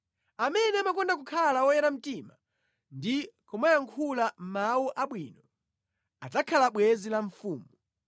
Amene amakonda kukhala woyera mtima ndi kumayankhula mawu abwino, adzakhala bwenzi la mfumu.